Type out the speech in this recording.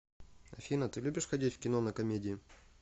афина ты любишь ходить в кино на комедии